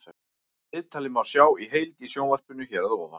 Viðtalið má sjá í heild í sjónvarpinu hér að ofan.